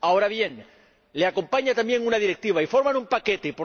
Ahora bien, le acompaña también una directiva y forman un paquete.